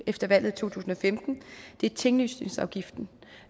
efter valget to tusind og femten er tinglysningsafgiften